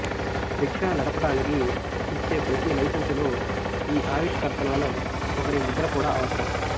rickshaw నడపడానికి ఇచ్చే ప్రతి లైసెన్సులో ఈ ఆవిష్కర్తలలో ఒకరి ముద్ర కూడా అవసరం